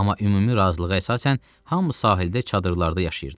Amma ümumi razılığa əsasən hamı sahildə çadırlarda yaşayırdı.